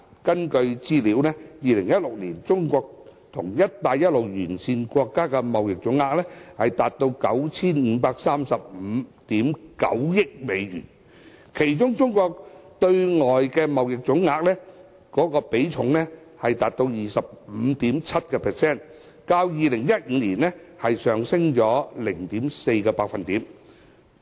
根據資料 ，2016 年中國跟"一帶一路"沿線國家的貿易總額達到 9,535 億 9,000 萬美元，其中中國對外的貿易總額，比重達到 25.7%， 較2015年上升 0.4%。